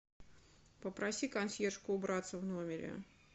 попроси консьержку убраться в номере